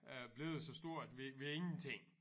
Øh blevet så stort ved ved ingenting